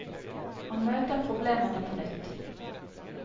Han møter problemene på nytt.